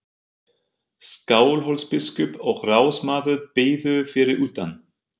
Skálholtsbiskup og ráðsmaður biðu fyrir utan.